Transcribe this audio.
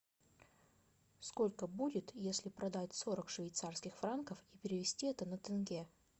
сколько будет если продать сорок швейцарских франков и перевести это на тенге